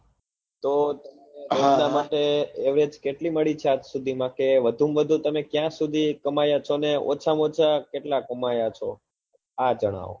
તો એટલા માટે કેટલી મળી ચાપ સુધી માં કે વધુ માં વધુ તમે ક્યાં સુધી કમાયા છો અને ઓછા માં ઓછા કેટલા કમાયા છો આ જણાવો